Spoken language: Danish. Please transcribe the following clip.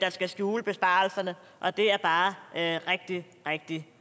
skal skjule besparelserne og det er bare rigtig rigtig